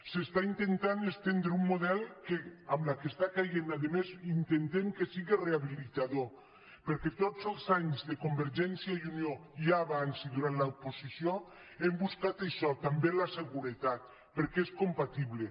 s’està intentant estendre un model que amb la que està caient a més intentem que siga reha·bilitador perquè tots els anys de convergència i unió ja abans i durant l’oposició hem buscat això també la seguretat perquè és compatible